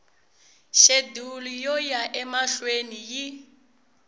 xedulu yo ya emahlweni yi